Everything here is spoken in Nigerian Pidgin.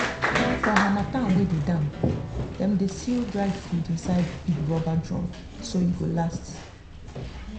for harmattan wey dey damp dem dey seal dry food inside big rubber drum so e go last.